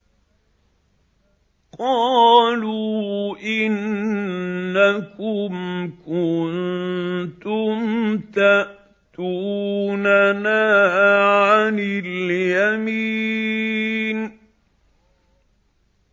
قَالُوا إِنَّكُمْ كُنتُمْ تَأْتُونَنَا عَنِ الْيَمِينِ